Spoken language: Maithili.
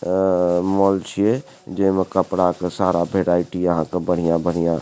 अ मॉल छिये जे मे कपड़ा के सारा वैरायटी आहां के बढ़िया-बढ़िया --